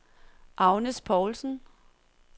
Agnes Paulsen